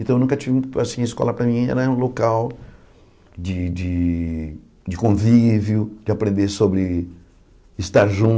Então, eu nunca tive muito assim a escola para mim era um local de de de convívio, de aprender sobre estar